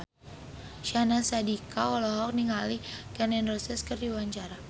Syahnaz Sadiqah olohok ningali Gun N Roses keur diwawancara